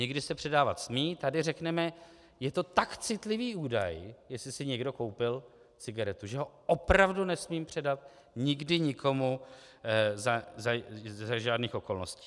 Někdy se předávat smí, tady řekneme: Je to tak citlivý údaj, jestli si někdo koupil cigaretu, že ho opravdu nesmím předat nikdy nikomu za žádných okolností.